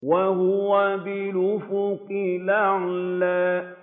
وَهُوَ بِالْأُفُقِ الْأَعْلَىٰ